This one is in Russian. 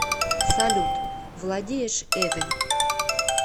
салют владеешь эве